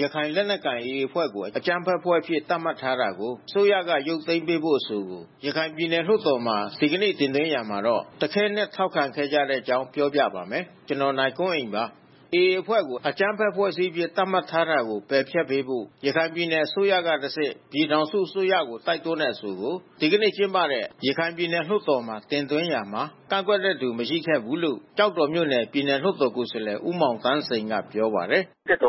ရခိုင်လက်နက်ကိုင် AA အဖွဲ့ကို အကြမ်းဖက်အဖွဲ့အဖြစ် သတ်မှတ်ထားတာကို အစိုးရက ရုပ်သိမ်းပေးရေး အဆိုကို ရခိုင်ပြည်နယ် လွှတ်တော်မှာ ဒီကနေ့ တင်သွင်းရာမှာ တခဲနက် ထောက်ခံခဲ့ကြတဲ့အကြောင်းကို ဗွီအိုအေမြန်မာပိုင်း သတင်းထောက် ကိုနိုင်ကွန်းအိန်က ပြောပြပါမယ်။ AA အဖွဲ့ကို အကြမ်းဖက်အဖွဲ့အစည်းအဖြစ် သတ်မှတ်ထားတာကို ပယ်ဖျက်ပေးဖို့ ရခိုင်ပြည်နယ်အစိုးကတဆင့် ပြည်ထောင်စုအစိုးကို တိုက်တွန်းတဲ့အဆိုကို ဒီကနေ့ ကျင်းပတဲ့ ရခိုင်ပြည်နယ်လွှတ်တော်မှာ တင်သွင်းရာမှာ ကန့်ကွက်သူ မရှိခဲ့ဘူးလို့ ကျောက်တော်မြို့နယ် ပြည်နယ် လွှတ်တော်ကိုယ်စားလှယ် မောင်သန်းစိန်က ပြောပါတယ်။ “ဦးထွ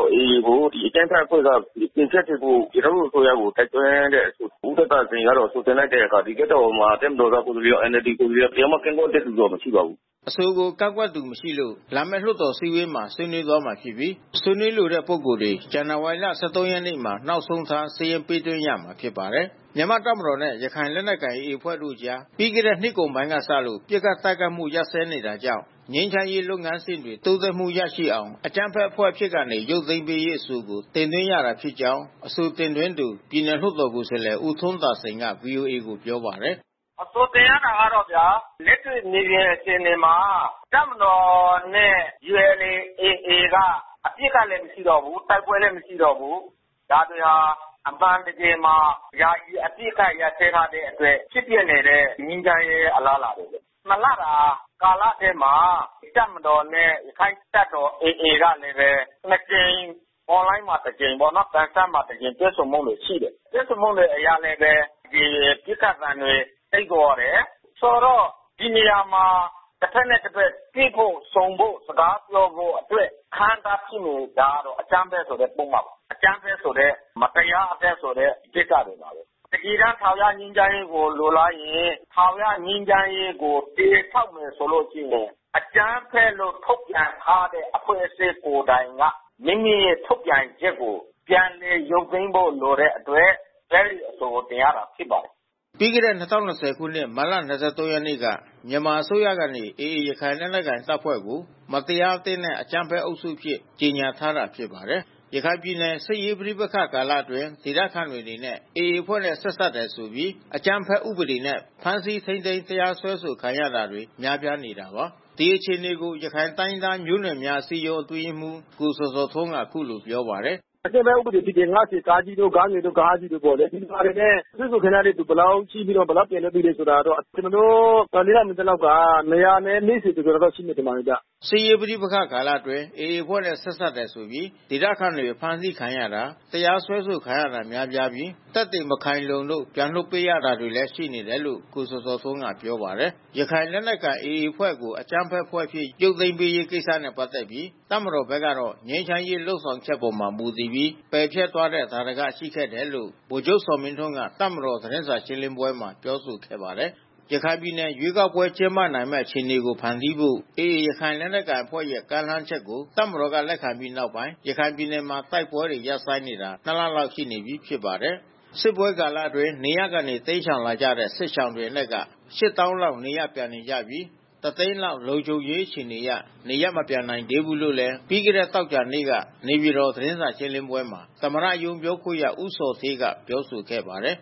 န်းသာစိန်က အဆိုတင်လိုက်တဲ့အခါ လွှတ်တော်မှာ တပ်မတော်သားကိုယ်စားလှယ်ရော၊ NLD ကိုယ်စားလှယ်တွေရော တယောက်မှ ကန့်ကွက်တဲ့သူတွေ မရှိပါဘူး။” အဆိုကို ကန့်ကွက်သူမရှိလို့ လာမယ့် လွှတ်တော်အစည်းအဝေးမှာ ဆွေးနွေးသွားမှာဖြစ်ပြီး ဆွေးနွေးလိုတဲ့ပုဂ္ဂိုလ်တွေ ဇန်နဝါရီ ၁၃ ရက်နေ့မှာ နောက်ဆုံးထား စာရင်းပေးသွင်းရမှာ ဖြစ်ပါတယ်။ မြန်မာတပ်မတော်နဲ့ ရခိုင်လက်နက်ကိုင် AA အဖွဲ့တို့ကြား ပြီးခဲ့တဲ့နှစ်ကုန်ပိုင်းကစ ပစ်ခတ်တိုက်ခိုက်မှု ရပ်စဲနေတာကြောင့် ငြိမ်းချမ်းရေးလုပ်ငန်းစဉ်တွေ တိုးတက်မှုရအောင် အကြမ်းဖက်အဖွဲ့အဖြစ်ကနေ ရုပ်သိမ်းပေးရေးအဆိုကို တင်သွင်းရတာဖြစ်ကြောင်း အဆိုတင်သွင်းသူ ပြည်နယ်လွှတ်တော်ကိုယ်စားလှယ်ဦးထွန်းသာစိန်က ဗွီအိုအေကိုပြောပါတယ်။ “အဆိုတင်ရတာကတော့ဗျာ။ လက်တွေ့မြေပြင်အခြေအနေမှာ တပ်မတော်နဲ့ ULA/AA က အပစ်အခတ်လည်း မရှိတော့ဘူး တိုက်ပွဲလည်း မရှိတော့ဘူး။ ဒါတွေဟာ အမှန်တကယ်မှာ ယာယီအပစ်ခတ်ရပ်စဲထားတဲ့ ဖြစ်ပျက်နေတဲ့ ငြိမ်းချမ်းရေး အလားအလာပဲ ဖြစ်တယ်။ ၂ လတာ ကာလထဲမှာ တပ်မတော်နဲ့ ရခိုင်တပ်တော် AA ကလည်းပဲ နှစ်ကြိမ်။ On Line မှာ တကြိမ်ပေါ့နော်၊ ပန်ဆန်းမှာ တကြိမ်တွေ့ဆုံမှုတွေ ရှိတယ်။ တွေ့ဆုံမှုတွေအရလည်းပဲ ဒီပစ်ခတ်သံတွေတိတ်သွားတယ်။ ဆိုတော့ ဒီနေရာမှာ တဘက်နဲ့ တဘက် တွေ့ဖို့၊ ဆုံဖို့ စကားပြောဖို့အတွက် အဟန့်အတားဖြစ်နေတာကတော့ အကြမ်းဖက်ဆိုတဲ့ ပုဒ်မ၊ အကြမ်းဖက်ဆိုတဲ့ မတရားအသင်းဆိုတဲ့ ကိစ္စတွေပါပဲ။ တကယ်တမ်း ထာဝရငြိမ်းချမ်းရေးကိုလိုလားရင် ထာဝရငြိမ်းချမ်းရေးကို တည်ဆောက်မယ်ဆိုလို့ရှိရင် အကြမ်းဖက်လို့ ထုတ်ပြန်ထားတဲ့ အဖွဲ့အစည်းကိုယ်တိုင်က မိမိရဲ့ ထုတ်ပြန်ချက်ကို ပြန်လည်ရုပ်သိမ်းဖို့လိုတဲ့အတွက် အဲဒီအဆိုကို တင်ရတာဖြစ်ပါတယ်။” ပြီးခဲ့တဲ့၂၀၂၀ ခုနှစ် မတ်လ ၂၃ ရက်နေ့က မြန်မာအစိုးရကနေ AA ရခိုင်လက်နက်ကိုင်တပ်ဖွဲ့ကို မတရားအသင်းနဲ့ အကြမ်းဖက်အုပ်စုအဖြစ် ကြေငြာထားတာ ဖြစ်ပါတယ်။ ရခိုင်ပြည်နယ်စစ်ရေးပဋိပက္ခကာလအတွင်း ဒေသခံတွေအနေနဲ့ AA အဖွဲ့နဲ့ ဆက်စပ်တယ်ဆိုပြီး အကြမ်းဖက်ဥပဒေနဲ့ ဖမ်းဆီးထိန်းသိမ်း တရားစွဲဆိုခံနေရတာတွေ များပြားနေတာပါ။ ဒီအခြေအနေကို ရခိုင်တိုင်းရင်းသားမျိုးနွယ်များ အစည်းအရုံးအတွင်းရေးမှူး ကိုဇော်ဇော်ထွန်းက အခုလိုပြောပါတယ်။ “အကြမ်းဖက်ဥပဒေ ၅၀ ကကြီး၊ ဂငယ်၊ ဃကြီးတို့နဲ့ပေါ့။ ဒီဟာတွေနဲ့ စွဲဆိုတင်ထားတဲ့သူတွေဘယ်လောက် ရှိပြီး ဘယ်လောက်ပြန်လွှတ်လာတယ်ဆိုတာကိုတော့ ကျနော်တို့ လက်လှန်းမီသလောက်က ၂၄၀ ကျော်ကျော်လောက် ရှိမယ် ထင်ပါတယ်ဗျ။” စစ်ရေး ပဋိပက္ခကာလအတွင်း AA အဖွဲ့နဲ့ ဆက်စပ်တယ်ဆိုပြီး ဒေသခံတွေ အဖမ်းဆီးခံရတာ တရားစွဲဆိုခံရတာ များပြားပြီး သက်သေမခိုင်လုံလို့ ပြန်လွှတ်ပေးတာတွေလည်း ရှိနေတယ်လို့ ကိုဇော်ဇော်ထွန်းကပြောပါတယ်။ ရခိုင်လက်နက်ကိုင် AA အဖွဲ့ကို အကြမ်းဖက်အဖွဲ့အဖြစ် ရုပ်သိမ်းပေးရေးကိစ္စနဲ့ ပတ်သက်ပြီး တပ်မတော်ဘက်ကတော့ ငြိမ်းချမ်းရေးလုပ်ဆောင်ချက်အပေါ် မူတည်ပြီး ပယ်ဖျက်သွားတဲ့ သာဓကရှိခဲ့တယ်လို့ ဗိုလ်ချုပ်ဇော်မင်းထွန်းက တပ်မတော် သတင်းစာရှင်းလင်းပွဲမှာပြောဆိုခဲ့ပါတယ်။ ရခိုင်ပြည်နယ်မှာ ရွေးကောက်ပွဲ ကျင်းပနိုင်မယ့် အခြေအနေတွေ ဖန်တီးဖို့ AA ရခိုင်လက်နက်ကိုင်အဖွဲ့ရဲ့ ကမ်းလှမ်းချက်ကို တပ်မတော်က လက်ခံခဲ့ပြီးနောက်ပိုင်း ရခိုင်ပြည်နယ်မှာ တိုက်ပွဲတွေ ရပ်ဆိုင်းနေတာ ၂ လလောက်ရှိနေပြီဖြစ်ပါတယ်။ စစ်ပွဲကာလအတွင်း နေရပ်ကနေ တိမ်းရှောင်လာကြတဲ့ စစ်ရှောင်တွေအနက်က ၈၀,၀၀၀ လောက်နေရပ်ပြန်နေကြပြီး ၁၀၀,၀၀၀ လောက် လုံခြုံရေးအခြေအနေအရ နေရပ်မပြန်နိုင်သေးဘူးလို့လည်း ပြီးခဲ့တဲ့သောကြာနေ့က နေပြည်တော် သတင်းစာရှင်းလင်းပွဲမှာ သမ္မတရုံး ပြောခွင့်ရဦးဇော်ဌေးက ပြောဆိုခဲ့ပါတယ်